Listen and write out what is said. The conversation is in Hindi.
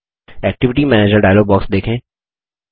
एक्टिविटी मैनेजर डायलॉग बॉक्स देखें